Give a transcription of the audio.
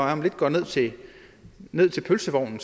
om lidt går ned til ned til pølsevognen